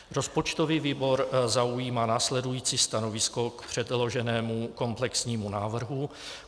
Rozpočtový výbor zaujímá následující stanovisko k předloženému komplexnímu návrhu.